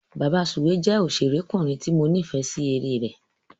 Bàbasùwé jẹ́ òṣèrékùnrin tí mo nífẹ̀é sí eré rẹ̀.